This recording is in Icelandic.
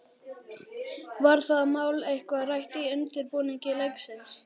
Var það mál eitthvað rætt í undirbúningi leiksins?